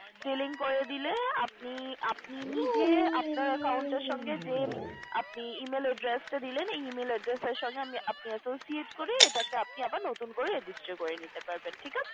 Delink করে দিলে আপনি নিজে আপনার account টা র সঙ্গে যে আপনি যে Email Address টা দিলেন এই Email Address এর সঙ্গে আপনি নিজে associate করে আপনি আবার নতুন করে register করে নিতে পারবেন ঠিক আছে